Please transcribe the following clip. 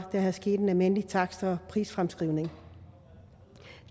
sket en almindelig takst og prisfremskrivning